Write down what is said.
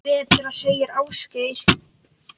Betra, segir Ásgeir.